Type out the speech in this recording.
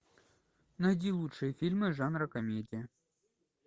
найди лучшие фильмы жанра комедия